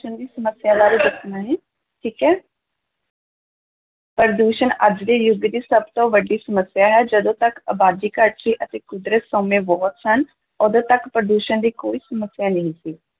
ਦੀ ਸਮੱਸਿਆ ਬਾਰੇ ਦੱਸਣਾ ਜੀ, ਠੀਕ ਹੈ ਪ੍ਰਦੂਸ਼ਣ ਅੱਜ ਦੇ ਯੁੱਗ ਦੀ ਸਭ ਤੋਂ ਵੱਡੀ ਸਮੱਸਿਆ ਹੈ, ਜਦੋਂ ਤੱਕ ਅਬਾਦੀ ਘੱਟ ਸੀ ਅਤੇ ਕੁਦਰਤੀ ਸੋਮੇ ਬਹੁਤੇ ਸਨ, ਉਦੋਂ ਤੱਕ ਪ੍ਰਦੂਸ਼ਣ ਦੀ ਕੋਈ ਸਮੱਸਿਆ ਨਹੀਂ ਸੀ।